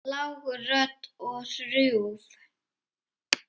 Lág rödd og hrjúf.